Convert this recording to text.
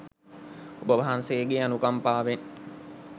ඔබවහන්සේගේ අනුකම්පාවෙන්